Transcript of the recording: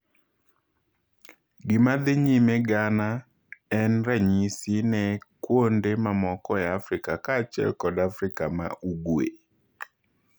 Gimadhii nyime Ghana en ranyisi ne kwonde mamoko ei Afrika ka achiel kod Afrika ma ugwee.